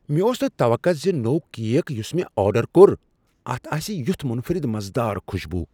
مےٚ اوس نہٕ توقع زِ نوٚو کیک یُس مےٚ آرڈر کوٚر اتھ آسِہ یتھ منفرد مزٕ دار خوشبو۔